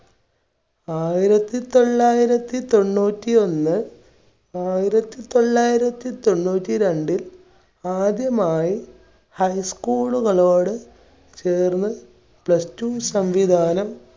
ആയിരത്തി തൊള്ളായിരത്തി തൊണ്ണൂറ്റി ഒന്ന്, ആയിരത്തി തൊള്ളായിരത്തി തൊണ്ണൂറ്റി രണ്ടിൽ ആദ്യമായി high school കളോട് ചേർന്ന് plus two സംവിധാനം